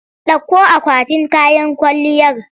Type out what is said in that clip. Ɗauko akwatin kayan kwalliyar!